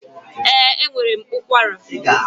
Ee, enwere m ụkwara